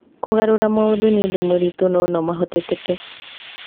Kũgarũra maũndũ nĩ ũndũ mũritũ no nomahotekeke .